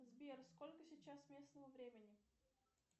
сбер сколько сейчас местного времени